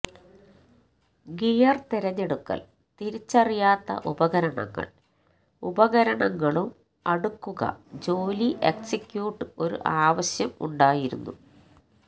gear തിരഞ്ഞെടുക്കൽ തിരിച്ചറിയാത്ത ഉപകരണങ്ങൾ ഉപകരണങ്ങളും അടുക്കുക ജോലി എക്സിക്യൂട്ട് ഒരു ആവശ്യം ഉണ്ടായിരുന്നു